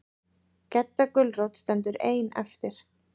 Gedda gulrót stendur ein eftir.